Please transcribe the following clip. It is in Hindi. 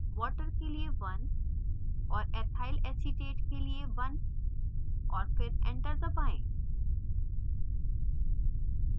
water के लिए 1 और ethyl acetate के लिए 1 और फिर enter दबाएँ